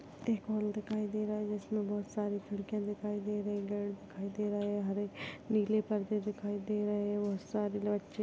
एक हॉल दिखाई दे रहा है जिसमे बहुत सारी खिड़किया दिखाई दे रही हरे नीले परदे दिखाई दे रहे बहुत सारे बच्चे--